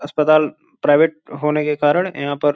अस्पताल प्राइवेट होने के कारण यहां पर --